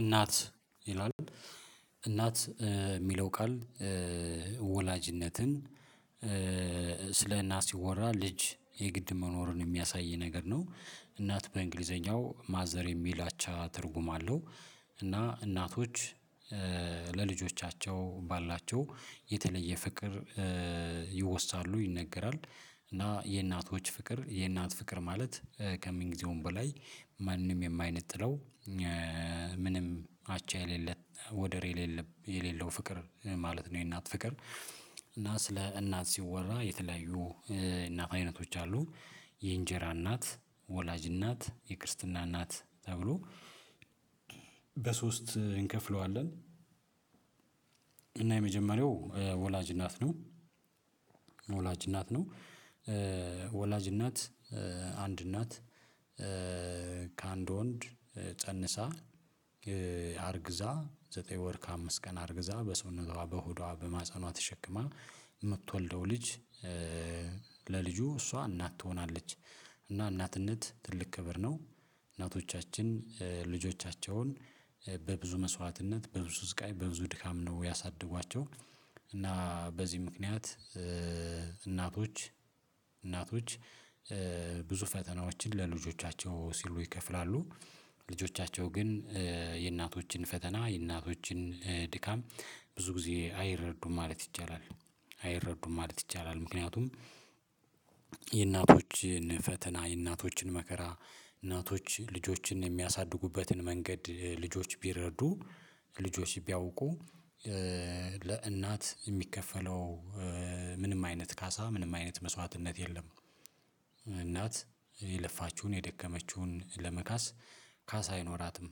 እናት ይላል እናት የሚለው ቃል ወላጅነትን ስለእናት ሲወራ ልጅ የግድ መኖሩን የሚያሳይ ነገር ነው እናት በእንግሊዘኛው ማዘር የሚል አቻ ትርጉም አለው እና እናቶች ለልጆቻቸው ባላቸው የተለየ ፍቅር ይወሳሉ ይነገራል እና የእናቶች ፍቅር የእናት ፍቅር ማለት ከምን ጊዜውም በላይ ማንም የማይነጥለው ምንም አቻ የሌለ ወደር የሌለበ የሌለው ፍቅር ማለት ነው። የእናት ፍቅር እና ስለ እናት ሲወራ የተለያዩ እናት አይነቶች አሉ። የእንጀራ እናት ወላጅ እናት የክርስትና እናት ተብሎ በሶስት እንከፍለዋለን። እና የመጀመሪያው ወላጅ እናት ነው። ወላጅ እናት ነው ወላጅ እናት አንድ እናት ከአንድ ወንድ ፀንሳ አርግዛ ዘጠኝ ወር ከአምስት ቀን አርግዛ በሰውነቷ በሆዷ በማህፀኗ ተሸክማ ደው ልጅ ለልጁ እሷ እናት ትሆናለች። እና እናትነት ትልቅ ክብር ነው። እናቶቻችን ልጆቻቸውን በብዙ መስዋዕትነት በብዙ ስቃይ በብዙ ድካም ነው ያሳደጓቸው። እና በዚህ ምክንያት እናቶች እናቶች ብዙ ፈተናዎችን ለልጆቻቸው ሲሉ ይከፍላሉ ልጆቻቸው ግን የእናቶችን ፈተና የእናቶችን ድካም ብዙ ጊዜ አይረዱም ማለት ይቻላል አይረዱም ማለት ይቻላል። ምክንያቱም የእናቶችን ፈተና የእናቶችን መከራ እናቶች ልጆችን የሚያሳድጉበትን መንገድ ልጆች ቢረዱ ልጆች ቢያውቁ ለእናት የሚከፈለው ምንም አይነት ካሳ ምንም አይነት መስዋዕትነት የለም። እናት የለፋችሁን የደከመችሁን ለመካስ ካስ አይኖራትም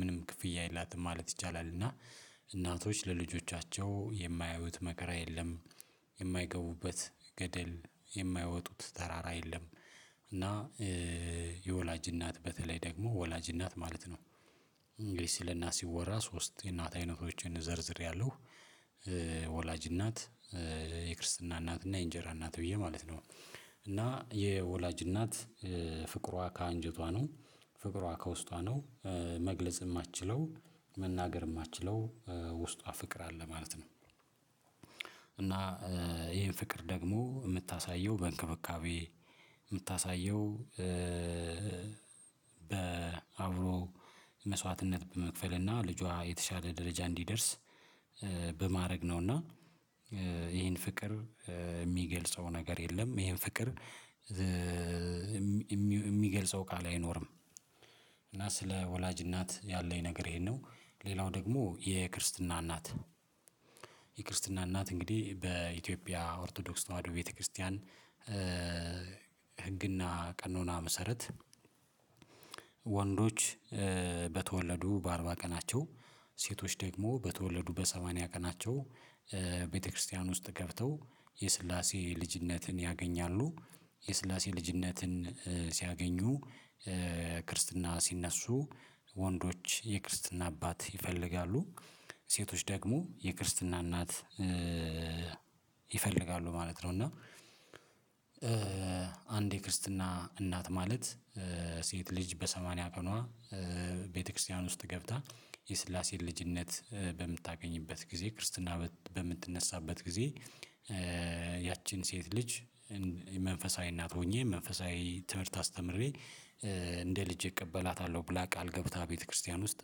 ምንም ክፍያ የላትም ማለት ይቻላል። እና እናቶች ለልጆቻቸው የማያዩት መከራ የለም የማይገቡበት ገደል የማይወጡት ተራራ የለም። እና የወላጅ እናት በተለይ ደግሞ ወላጅ እናት ማለት ነው እንግዲህ ስለእናት ሲወራ ሶስት የእናት አይነቶችን ዘርዝሬያለሁ። ወላጅ እናት የክርስትና እናት እና የእንጀራ እናት ብየ ማለት ነው። እና የወላጅ እናት ፍቅሯ ከአንጀቷ ነው ፍቅሯ ከውስጧ ነው መግለጽ የማትችለው መናገር የማትችለው ውስጧ ፍቅር አለ ማለት ነው። እና ይሄን ፍቅር ደግሞ የምታሳየው በእንክብካቤ የምታሳየው በአብሮ መስዋዕትነት በመክፈል እና ልጇ የተሻለ ደረጃ እንዲደርስ በማድረግ ነው እና። ይሄን ፍቅር የሚገልጸው ነገር የለም ይሄን ፍቅር የሚገልጸው ቃል አይኖርም እና ስለ ወላጅ እናት ያለኝ ነገር ይሄን ነው። ሌላው ደግሞ የክርስትና እናት የክርስትና እናት እንግዲህ በኢትዮጵያ ኦርቶዶክስ ተዋህዶ ቤተክርስቲያን ህግና ቀኖና መሰረት ወንዶች በተወለዱ በአርባ ቀናቸው ሴቶች ደግሞ በተወለዱ በሰማንያ ቀናቸው ቤተክርስቲያን ውስጥ ገብተው የስላሴ ልጅነትን ያገኛሉ። የስላሴ ልጅነትን ሲያገኙ ክርስትና ሲነሱ ወንዶች የክርስትና አባት ይፈልጋሉ ሴቶች ደግሞ የክርስትና እናት ይፈልጋሉ ማለት ነው። እና አንድ የክርስትና እናት ማለት ሴት ልጅ በሰማንያ ቀኗ ቤተክርስቲያን ውስጥ ገብታ የስላሴን ልጅነት በምታገኝበት ጊዜ ክርስትና በምትነሳበት ጊዜ ያቺን ሴት ልጅ መንፈሳዊ እናት ሆኜ መንፈሳዊ ትምህርት አስተምሬ እንደ ልጄ እቀበላታለሁ ብላ ቃል ገብታ ቤተክርስቲያን ውስጥ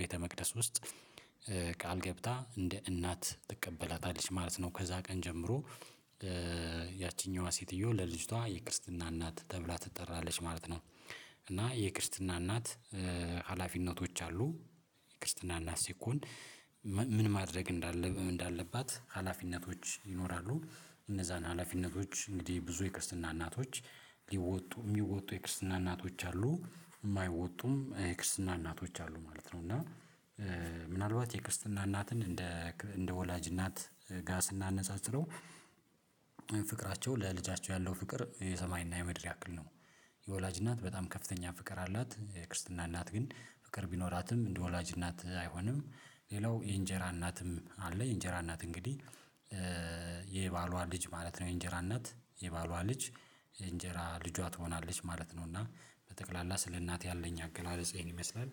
ቤተመቅደስ ውስጥ ቃል ገብታ እንደ እናት ትቀበላታለች ማለት ነው። ከዛ ቀን ጀምሮ ያቺኛዋ ሴትዮ ለልጅቷ የክርስትና እናት ተብላ ትጠራለች ማለት ነው። እና የክርስትና እናት ሀላፊነቶች አሉ የክርስትና እናት ሲኮን ምን ማድረግ እንዳለብህ እንዳለባት ሀላፊነቶች ይኖራሉ እነዛን ሀላፊነቶች እንግዲህ ብዙ የክርስትና እናቶች የሚወጡ የሚወጡ የክርስትና እናቶች አሉ የማይወጡም የክርስትና እናቶች አሉ ማለት ነው። እና ምናልባት የክርስትና እናትን እንደ እንደ ወላጅ እናት ጋ እናነጻጽረው ፍቅራቸው ለልጃቸው ያለው ፍቅር የሰማይና የምድር ያክል ነው። የወላጅ እናት በጣም ከፍተኛ ፍቅር አላት ክርስትና እናት ግን ፍቅር ቢኖራትም እንደ ወላጅ እናት አይሆንም። ሌላው የእንጀራ እናትም አለ የእንጀራ እናት እንግዲህ የባሏ ልጅ ማለት ነው የእንጀራ እናት የባሏ ልጅ እንጀራ ልጇ ትሆናለች ማለት ነው። እና በጠቅላላ ስለእናቴ ያለኝ አገላለጽ ይህን ይመስላል